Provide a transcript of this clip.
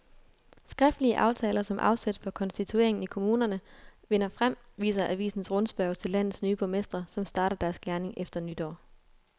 Skriftlige aftaler som afsæt for konstitueringen i kommunerne vinder frem, viser avisens rundspørge til landets nye borgmestre, som starter deres gerning efter nytår.